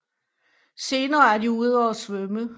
Senere er de ude og svømme